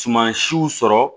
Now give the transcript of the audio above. Suman siw sɔrɔ